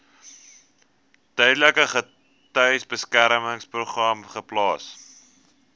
tydelike getuiebeskermingsprogram geplaas